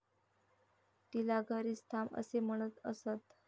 तिला घरीच थांब असे म्हणत असत.